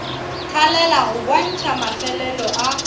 thalela go bontšha mafelelo a